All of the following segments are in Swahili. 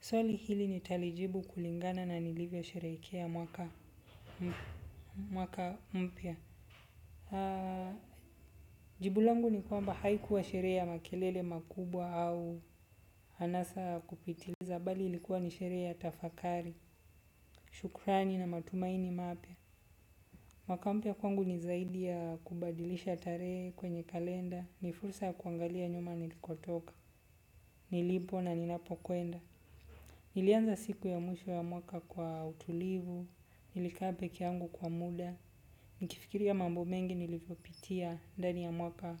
Swali hili nitali jibu kulingana na nilivyo sherehekea mwaka mpya. Jibu langu ni kwamba haikuwa sherehe ya makelele makubwa au anasa kupitiliza bali ilikuwa ni sherehe ya tafakari, shukrani na matumaini mapya. Mwaka mpya kwangu ni zaidi ya kubadilisha tarehe kwenye kalenda, ni fursa kuangalia nyuma nilikotoka, nilipo na ninapo kwenda. Nilianza siku ya mwisho wa mwaka kwa utulivu, nilikaa peke yangu kwa muda, nikifikiria ya mambo mengi nilivyopitia ndani ya mwaka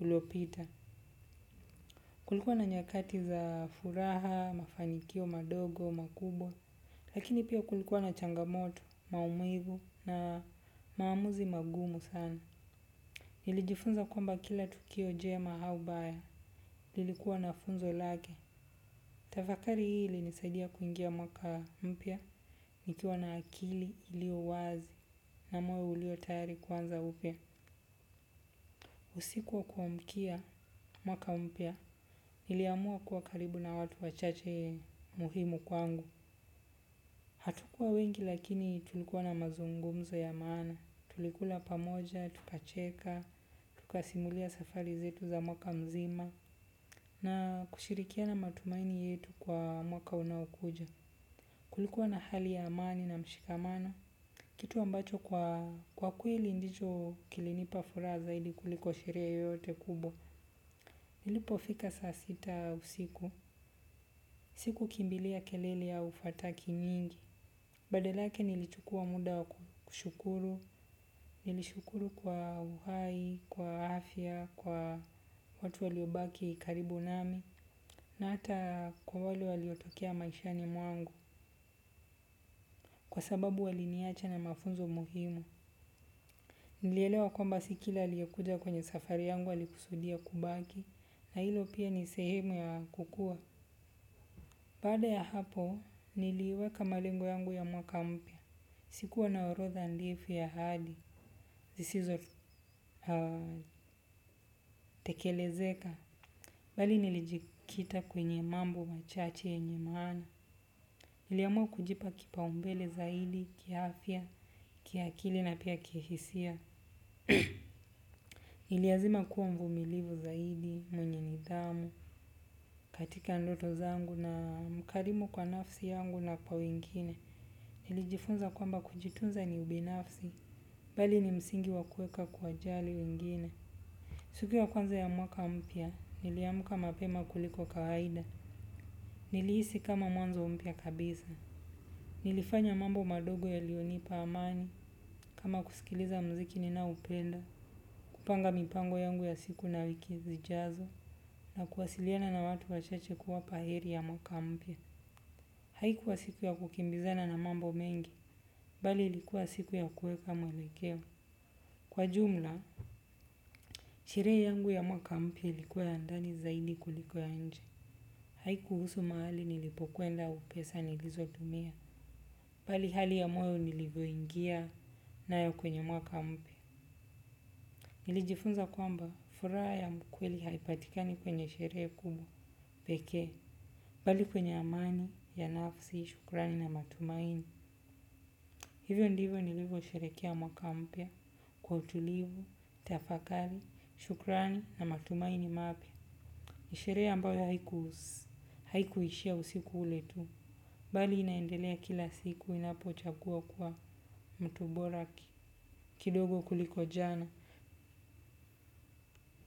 uliopita. Kulikuwa na nyakati za furaha, mafanikio, madogo, makubwa, lakini pia kulikuwa na changamoto, maumivu na maamuzi magumu sana. Nilijifunza kwamba kila tukio jema au baya lilikua na funzo lake tafakari hii ilinsaidia kuingia mwaka mpya nikiwa na akili ilio wazi na moyo ulio tayari kuanza upya. Usiku wa kuamkia mwaka mpya, iliamua kuwa karibu na watu wachache muhimu kwangu. Hatukuwa wengi lakini tulikuwa na mazungumzo ya maana, tulikula pamoja, tukacheka, tukasimulia safari zetu za mwaka mzima na kushirikiana matumaini yetu kwa mwaka unaokuja. Kulikua na hali ya amani na mshikamano kitu ambacho kwakweli ndicho kilinipa amani kuliko sherehe yoyote kubwa ilipofika saa sita usiku. Siku kimbilia kelele au fataki nyingi. Badala yake nilichukua muda wa kushukuru. Nilishukuru kwa uhai, kwa afya, kwa watu waliobaki karibu nami. Na ata kwa waliotokea maishani mwangu. Kwa sababu wali niacha na mafunzo muhimu. Nielewa kwamba si kila aliekuja kwenye safari yangu alikusudia kubaki na hilo pia ni sehemu ya kukua. Baada ya hapo niliweka malengo yangu ya mwaka mpya. Sikuwa na orodha ndefu ya hali, zisizo tekelezeka. Bali nilijikita kwenye mambo machache yenye maana. Niliamua kujipa kipa umbele zaidi, kia afya, kia akili na pia kihisia. Niliazima kuwa mvumilivu zaidi, mwenye nidhamu, katika ndoto zangu na mkarimu kwa nafsi yangu na kwa wengine. Nilijifunza kwamba kujitunza ni ubinafsi, bali ni msingi wa kueka kuwajali wengine. Sikunya kwanza ya mwaka mpya, niliamka mapema kuliko kawaida. Nilihisi kama mwanzo mpya kabisa. Nilifanya mambo madogo yalionipa amani, kama kusikiliza mziki ninao upenda. Kupanga mipango yangu ya siku na wiki zijazo na kuwasiliana na watu wachache kuwapa heri ya mwaka mpya. Haikuwa siku ya kukimbizana na mambo mengi, bali ilikuwa siku ya kuweka mwelekeo. Kwa jumla sherehe yangu ya mwaka mpya ilikua ya ndani zaidi kuliko nje. Haiku husu mahali nilipokwenda au pesa nilizotumia, bali hali ya moyo nilivyoingia na yo kwenye mwaka mpya. Nilijifunza kwamba furaha ya mkweli haipatikani kwenye sherehe kubwa, pekee, bali kwenye amani, ya nafsi, shukrani na matumaini. Hivyo ndivyo nilivyo sherekea mwaka mpya, kwa utulivu, tafakari, shukrani na matumaini mapya. Ni sherehe ambayo haikuishia usiku ule tu, bali inaendelea kila siku ninapo chagua ku wa mtu bora kidogo kuliko jana.